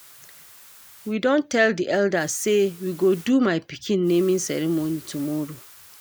We don tell di eldas sey we go do my pikin naming ceremony tomorrow.